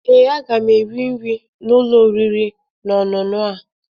Ee, aga m eri nri n'ụlọ oriri na ọṅụṅụ a